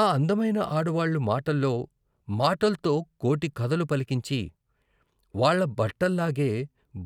ఆ అందమైన ఆడవాళ్ళు మాటల్లో మాటల్తో కోటి కథలు పలికించి వాళ్ళ బట్టల్లాగే